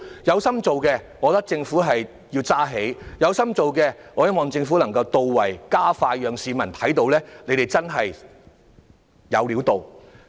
如果政府有心辦事，我認為便要有所承擔、做得到位、加快速度，讓市民看到真的"有料到"。